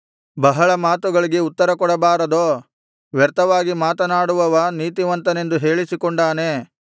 ಬಹಳ ಮಾತುಗಳಿಗೆ ಉತ್ತರ ಕೊಡಬಾರದೋ ವ್ಯರ್ಥವಾಗಿ ಮಾತನಾಡುವವ ನೀತಿವಂತನೆಂದು ಹೇಳಿಸಿಕೊಂಡಾನೇ